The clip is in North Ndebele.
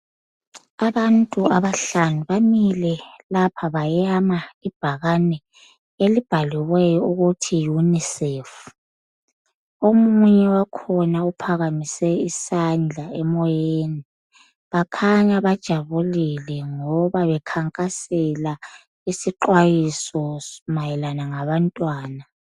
Abantu abahlanu bamile lapha bayama ibhakane elibhaliweyo ukuthi unicef. Omunye wakhona uphakamise isandla emoyeni bakhanya bajabulile ngoba bekhankasela isixwayiso mayelana ngabantwana.